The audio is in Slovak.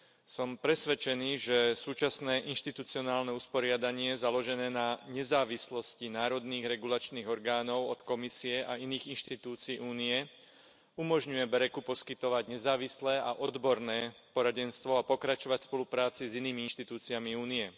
Som presvedčený, že súčasné inštitucionálne usporiadanie založené na nezávislosti národných regulačných orgánov od Komisie a iných inštitúcií Únie, umožňuje BEREC u poskytovať nezávislé a odborné poradenstvo a pokračovať v spolupráci s inými inštitúciami Únie.